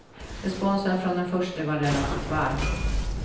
Responsen från den förste var relativt varm.